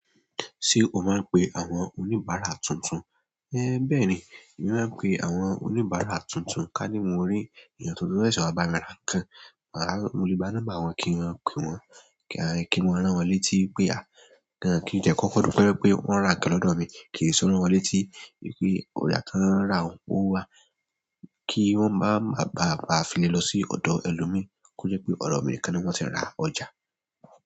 Ṣé o máa ń pe àwọn oníbàárà tuntun? É bẹ́ẹ̀ ni, èmi máa ń pe àwọn oníbàárà tuntun ká ní mo rí èèyàn tuntun fẹ́ ṣọ̀bà mi ra nǹkan, màá mo le gbà námber wọn kí n mọ pe wọ́n, kí n lè rán wọ́n létí pé à kí ń tiẹ́ kọkọ dúpẹ pé wọ́n ń ra nǹkan lọ́dọ̀ mi, kí n lè rán wọ́n létí pé ọ̀ja tan ra un o wá, kí wọ́n máa ma bá a fi lè lọ sí ọ̀dọ̀ ẹlòmíí kó jẹ́ pé ọ̀dọ̀ mi nìkan ni wọ́n ti ń ra ọjà.